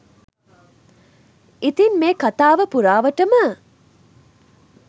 ඉතින් මේ කතාව පුරාවටම